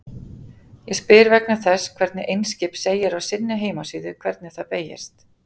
Ég spyr vegna þess hvernig Eimskip segir á sinni heimasíðu hvernig það beygist.